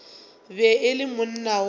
be e le monna wa